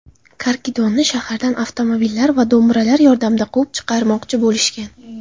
Karkidonni shahardan avtomobillar va do‘mbiralar yordamida quvib chiqarmoqchi bo‘lishgan.